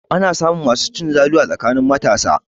Ana samun masu cin zalu a tsakanin matasa.